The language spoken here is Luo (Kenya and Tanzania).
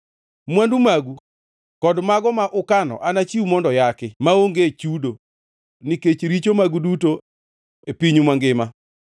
“Mwandu magu kod mago ma ukano anachiw mondo yaki, maonge chudo, nikech richo magu duto e pinyu mangima.